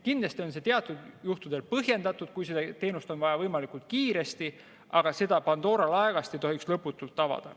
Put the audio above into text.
Kindlasti on see teatud juhtudel põhjendatud, kui seda teenust on vaja võimalikult kiiresti, aga seda Pandora laegast ei tohiks lõputult avada.